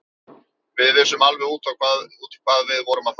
Við vissum alveg út í hvað við vorum að fara.